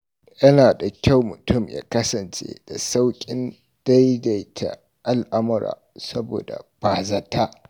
Yana da kyau mutum ya kasance da sauƙin daidaita al'amurra, saboda bazata.